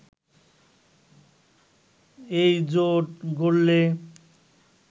এইজোট গড়লে